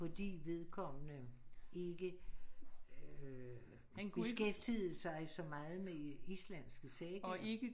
Fordi vedkommende ikke øh beskæftigede sig så meget med islandske sagaer